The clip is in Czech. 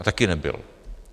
A taky nebyl.